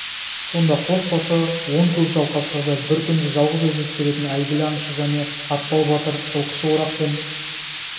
сонда қос басы он көкжал қасқырды бір күнде жалғыз өзі түсіретін әйгілі аңшы және атпал батыр жылқышы орақпен